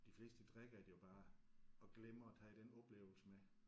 De fleste de drikker det jo bare og glemmer at tage den oplevelse med